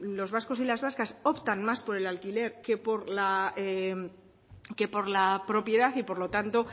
los vascos y las vascas optan más por el alquiler que por la propiedad y por lo tanto